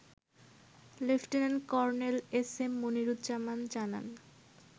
Lieutenant Colonel SM Moniruzzaman জানান